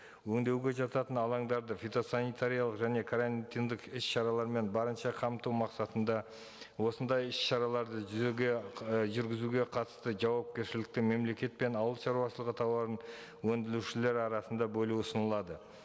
өндеуге жататын алаңдарды фитосанитариялық және карантиндік іс шаралармен барынша қамту мақсатында осындай іс шараларды жүзеге і жүргізуге қатысты жауапкершіліктің мемлекет пен ауыл шаруашылығы талабын өндірушілер арасында бөлу ұсынылады